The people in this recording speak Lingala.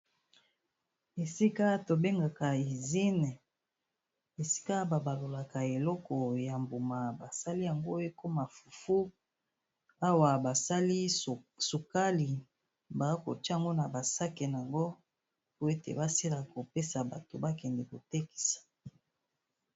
Esika to bengaka usine esika ba balolaka eloko ya mbuma basali yango ekoma fufu, awa basali sukali ba kotia ngo na ba sac nango po ete basila kopesa bato ba kende kotekisa.